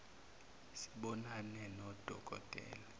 sibonane nodo kotela